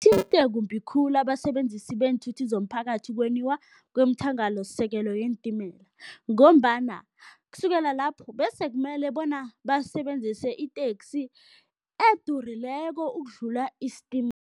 kumbi khulu abasebenzisi beenthuthi zomphakathi kwemthangalasisekelo yeentimela ngombana kusukela lapho bese kumele bona basebenzise iteksi edurileko ukudlula